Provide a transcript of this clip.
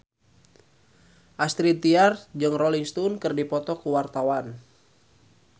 Astrid Tiar jeung Rolling Stone keur dipoto ku wartawan